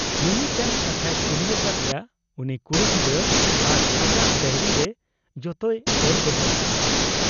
ᱢᱤᱢᱤᱫᱴᱟᱹᱝ ᱠᱟᱛᱷᱟᱭ ᱠᱩᱞᱤ ᱟᱠᱟᱫ ᱮᱭᱟ ᱩᱱᱤ ᱠᱩᱲᱤ ᱜᱤᱫᱟᱹᱨ ᱟᱨ ᱟᱡᱟᱜ ᱰᱟᱭᱨᱤᱨᱮ ᱡᱚᱛᱚᱭ ᱚᱞ ᱫᱚᱦᱚ ᱟᱠᱟᱜ ᱟ ᱾